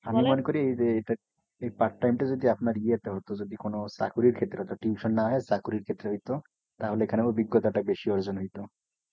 আমি মনে করি এই যে এটা এই part time টা যদি আপনার ইয়েতে হতো যদি কোনো চাকুরীর ক্ষেত্রে হতো tuition না হয়ে চাকুরীর ক্ষেত্রে হইতো তাহইলে এখানে অভিজ্ঞতাটা বেশি অর্জন হয়তো।